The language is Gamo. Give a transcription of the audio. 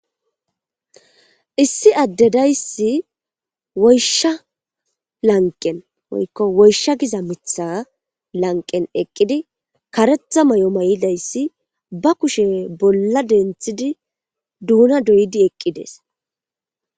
Issi addedayssi woysha lanqen oykko woysha giza mitha lanqen eqqidi karetha may7o may7idayssi ba kushe bolla denthidi duuna doyidi eqqides